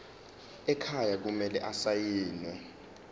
ekhaya kumele asayiniwe